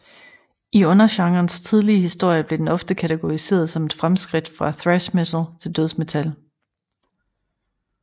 I undergenrens tidlige historie blev den ofte kategoriseret som et fremskridt fra thrash metal til dødsmetal